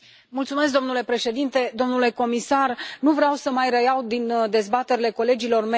Domnule președinte, domnule comisar, nu vreau să mai reiau din dezbaterile colegilor mei.